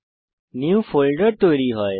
একটি নিউ ফোল্ডের তৈরী হয়